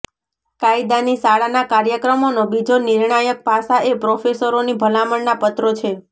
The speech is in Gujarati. કાયદાની શાળાના કાર્યક્રમોનો બીજો નિર્ણાયક પાસા એ પ્રોફેસરોની ભલામણના પત્રો છે